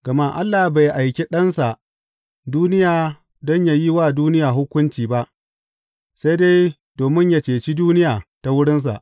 Gama Allah bai aiki Ɗansa duniya don yă yi wa duniya hukunci ba, sai dai domin yă ceci duniya ta wurinsa.